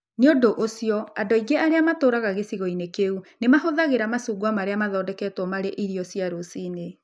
Nĩ ũndũ ũcio, andũ aingĩ matũũraga gĩcigo-inĩ kĩu nĩ mahũthagĩra macungwa marĩa mathondeketwo marĩ irio cia rũcinĩ.